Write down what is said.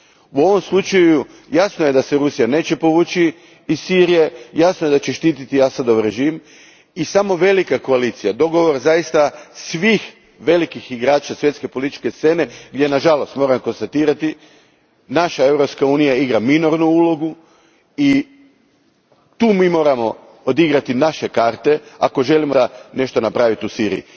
U ovom slučaju, jasno je da se Rusija neće povući iz Sirije, jasno je da će štititi Asadov režim i samo velika koalicija, dogovor svih velikih igrača svjetske političke scene a nažalost moram konstatirati, naša Europska unija igra minornu ulogu i mi tu moramo odigrati naše karte ako zaista želimo nešto napraviti u Siriji.